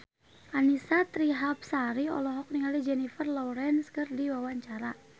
Annisa Trihapsari olohok ningali Jennifer Lawrence keur diwawancara